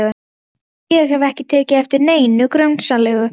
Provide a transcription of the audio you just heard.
Lystisnekkjan var enn á sínum stað úti fyrir.